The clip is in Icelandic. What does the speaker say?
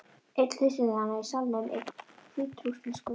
Einn hlustendanna í salnum er hvítrússneskur.